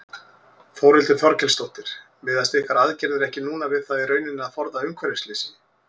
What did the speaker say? Þórhildur Þorkelsdóttir: Miðast ykkar aðgerðir ekki núna við það í rauninni að forða umhverfisslysi?